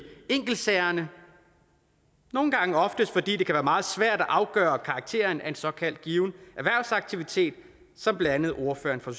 enkeltsagerne oftest fordi det kan være meget svært at afgøre karakteren af en såkaldt given erhvervsaktivitet som blandt andet ordføreren fra